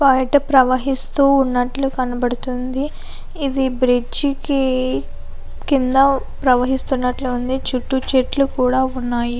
ప్రవహిస్తు ఉన్నట్లు కనబడుతుంది. ఇది బ్రిడ్జ్ కింద ప్రవహిస్తున్నట్లు ఉంది. కింద చెట్లు కూడా ఉన్నాయి.